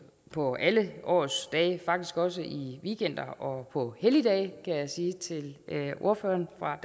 på alle årets dage faktisk også i weekender og på helligdage kan jeg sige til ordføreren fra